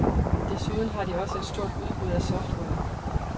Desuden har de også et stort udbud af software.